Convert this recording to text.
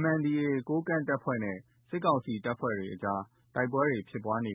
MNDAA ကိုးကန့်နဲ့ စစ်ကောင်စီတပ်တွေအကြားမှာ တိုက်ပွဲတွေ ဖြစ်ပွားနေ